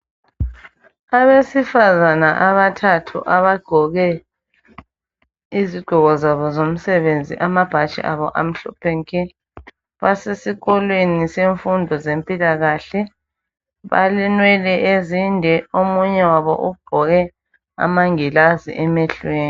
Abesifazana abathathu abagqoke izigqoko zabo zomsebenzi, amabhatshi abo amhlophe nke basesikolweni semfundo zempilakahle, balenwele ezinde omunye wabo ugqoke amangilazi emehlweni.